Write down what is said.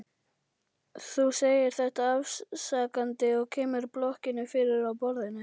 Þú segir þetta afsakandi og kemur blokkinni fyrir á borðinu.